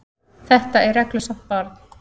Þetta er reglusamt barn.